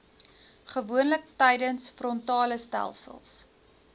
gewoonlik tydens frontalestelsels